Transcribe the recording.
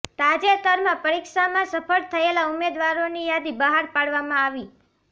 તાજેતરમાં પરીક્ષામાં સફળ થયેલા ઉમેદવારોની યાદી બહાર પાડવામાં આવી